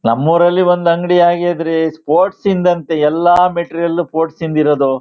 ಅವ್ನ್ ಇಲ್ದೇ ಇರೋವಾಗ ನಾನ್ ಹೋಗಿ ಕಷ್ಟಮರ್ ನ ಅಅ ವಿಚಾರ್ಸ್ಕೊಂಡು ಎನ್ ಬೇಕೂಂತ ಕೇಳಿ ಕೊಡ್ತಾ ಇರ್ತಿನ್.